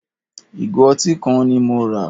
Ìgò ọtí kan ni mo rà.